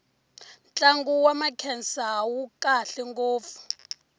ntlangu wa makhensa wu kahle ngopfu